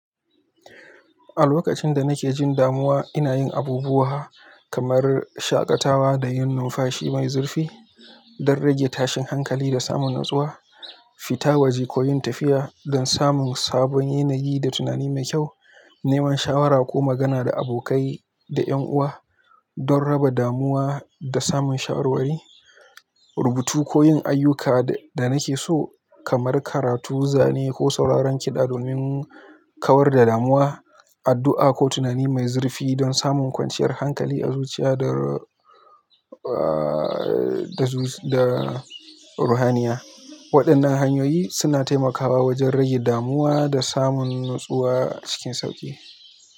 A lokacin da nake jin damuwa, ina yin abubuwa kamar shaƙatawa da yin numfashi mai zurfi don rage tashin hankali da samun natsuwa, fita waje ko yin tafiya don samun sabon yanayi da tunani mai kyau, neman shawara ko magana da abokai da 'yan uwa don raba damuwa da samun shawarwari, rubutu ko yin ayyukan da nake so kamar karatu, zane ko sauraron kiɗa don in kawar da damuwa, addu'a ko tunani mai zurfi don samun kwanciyar hankali a zuciya da, uh, da ruhaninya. Waɗannan hanyoyi suna taimakawa wajen rage damuwa da samun natsuwa cikin sauƙi.